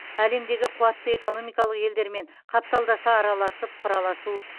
әлемдегі қуатты экономикалық елдермен қапталдаса араласып құраласу